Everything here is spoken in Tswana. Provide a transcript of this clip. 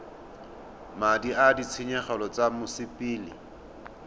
madi a ditshenyegelo tsa mosepele